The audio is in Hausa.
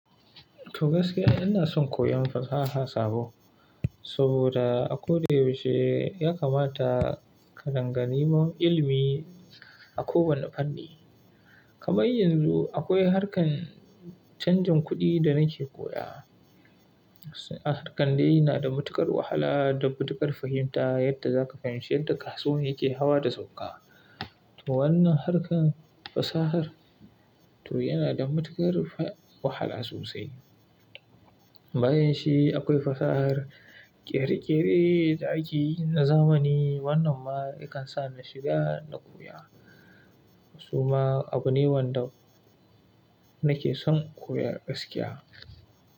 To gaskiya ina son koyon fasaha sabo, saboda a koda yaushe ya kamata ka danga niman ilimi a kowane fanni. Kamar yanzu akwai harkar canjin kuɗi da nake koya. Harkar dai na da matuƙar wahala da matuƙar fahimta yadda za ka fahimci yadda kasuwan yake hawa da sauka. To wannan harkar fasahar to yana da matuƙar wahala sosai. Bayanshi akwai fasahar ƙere-ƙere da akeyi na zamani wannan ma yakan sa ni shiga na koya. Su ma abu ne wanda nake son koya gaskiya.